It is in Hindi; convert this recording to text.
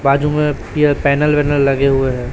बाजू में पिअर पैनल वैनल लगे हुए हैं।